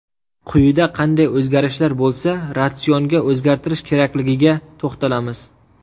Quyida qanday o‘zgarishlar bo‘lsa ratsionga o‘zgartirish kerakligiga to‘xtalamiz.